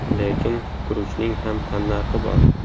Lekin guruchning ham tannarxi bor.